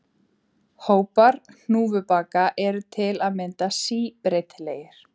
Hópar hnúfubaka eru til að mynda síbreytilegir.